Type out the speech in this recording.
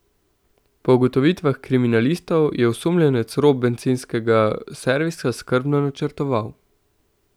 Po ugotovitvah kriminalistov je osumljenec rop bencinskega servisa skrbno načrtoval.